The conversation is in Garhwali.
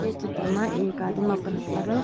ये चित्र मा एक आदिम अपर हथ पर।